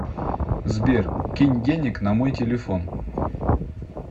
сбер кинь денег на мой телефон